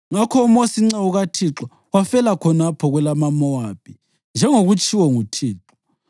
Ngakho uMosi inceku kaThixo wafela khonapho kwelamaMowabi, njengokwakutshiwo nguThixo.